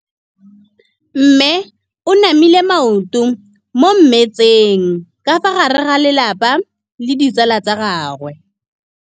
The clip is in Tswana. Mme o namile maoto mo mmetseng ka fa gare ga lelapa le ditsala tsa gagwe.